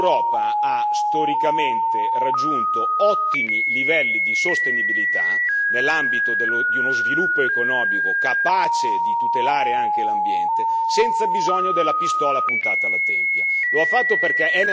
Il primo l'Europa ha storicamente raggiunto ottimi livelli di sostenibilità nell'ambito di uno sviluppo economico capace di tutelare anche l'ambiente, senza bisogno della pistola puntata alla tempia.